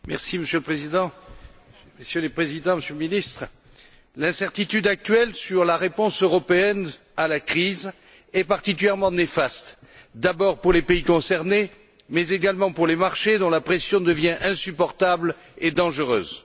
Monsieur le Président, Messieurs les Présidents, Monsieur le Ministre, l'incertitude actuelle sur la réponse européenne à la crise est particulièrement néfaste, d'abord pour les pays concernés, mais également pour les marchés, dont la pression devient insupportable et dangereuse.